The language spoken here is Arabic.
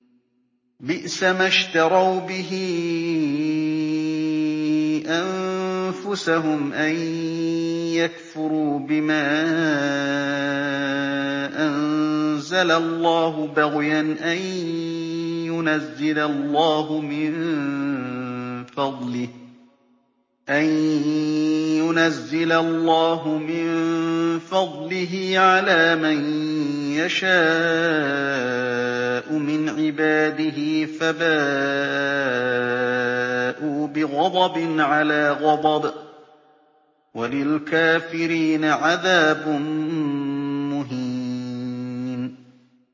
بِئْسَمَا اشْتَرَوْا بِهِ أَنفُسَهُمْ أَن يَكْفُرُوا بِمَا أَنزَلَ اللَّهُ بَغْيًا أَن يُنَزِّلَ اللَّهُ مِن فَضْلِهِ عَلَىٰ مَن يَشَاءُ مِنْ عِبَادِهِ ۖ فَبَاءُوا بِغَضَبٍ عَلَىٰ غَضَبٍ ۚ وَلِلْكَافِرِينَ عَذَابٌ مُّهِينٌ